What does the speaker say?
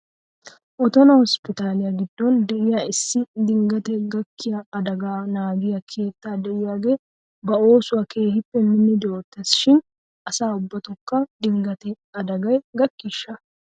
Otona hosppitaaliyaa giddon de'iyaa issi dinggate gakkiyaa adagaa naagiyaa keetta de'iyaagee ba oosuwaa keehippe minnidi oottes shin asaa ubbatokka dinggate adagay gakkiishsha?